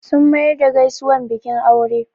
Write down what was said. Sun mayar da gaisuwar bikin aure